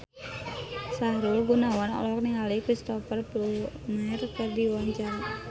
Sahrul Gunawan olohok ningali Cristhoper Plumer keur diwawancara